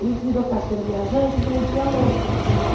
Ele virou caixeiro viajante e vendia louça.